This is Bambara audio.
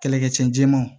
Kɛlɛkɛcɛ ma